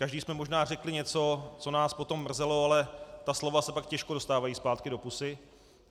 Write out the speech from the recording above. Každý jsme možná řekli něco, co nás potom mrzelo, ale ta slova se pak těžko dostávají zpátky do pusy.